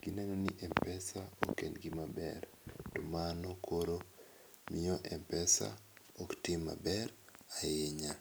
gi neno ni mpesa ok en gi ma ber to mano koro miyo mpesa ok tim ma ber ahinya.